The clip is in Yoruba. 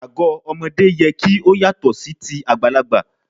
Ago ọmọdé yẹ kí ó yàtọ̀ sí ti àgbàlagbà.